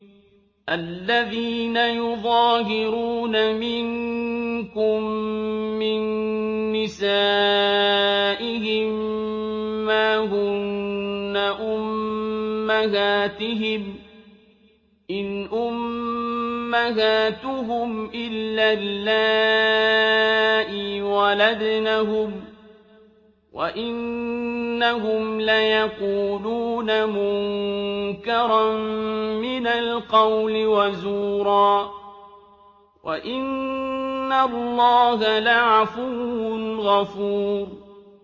الَّذِينَ يُظَاهِرُونَ مِنكُم مِّن نِّسَائِهِم مَّا هُنَّ أُمَّهَاتِهِمْ ۖ إِنْ أُمَّهَاتُهُمْ إِلَّا اللَّائِي وَلَدْنَهُمْ ۚ وَإِنَّهُمْ لَيَقُولُونَ مُنكَرًا مِّنَ الْقَوْلِ وَزُورًا ۚ وَإِنَّ اللَّهَ لَعَفُوٌّ غَفُورٌ